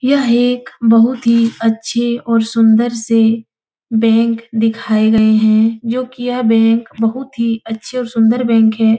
यह एक बहुत ही अच्छे और सुंदर से बैंक दिखाए गए हैं जो कि यह बैंक बहुत ही अच्छे और सुंदर बैंक है।